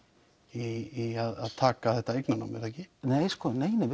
í að taka þetta eignarnám er það ekki nei nei